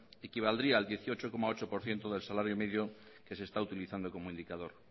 equivaldría al dieciocho coma ocho por ciento del salario medio que se está utilizando como indicador